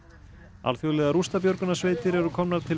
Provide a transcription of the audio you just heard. alþjóðlegar rústabjörgunarsveitir eru komnar til